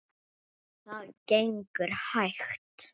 Það gengur hægt.